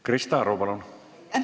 Krista Aru, palun!